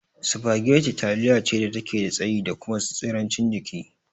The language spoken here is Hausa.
Spaghetti taliya ce dake da tsayi da kuma tsirancin jiki